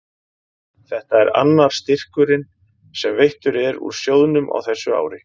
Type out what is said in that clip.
Þetta er annar styrkurinn sem veittur er úr sjóðnum á þessu ári.